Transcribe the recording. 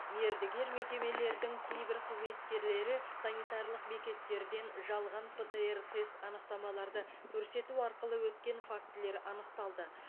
мердігер мекемелердің кейбір қызметкерлері санитарлық бекеттерден жалған птр тест анықтамаларды көрсету арқылы өткен фактілер анықталды